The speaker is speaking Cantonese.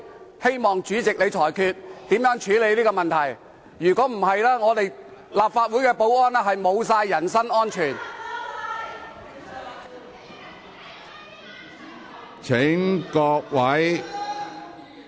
我希望主席裁決，如何處理這問題，否則，立法會保安人員的人身安全便失去保障。